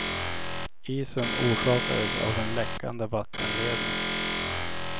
Isen orsakades av en läckande vattenledning.